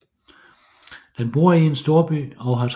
Den bor i en storby og har travlt